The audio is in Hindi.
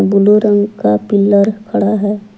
ब्लू रंग का पिलर खड़ा है।